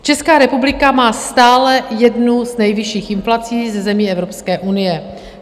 Česká republika má stále jednu z nejvyšších inflací ze zemí Evropské unie.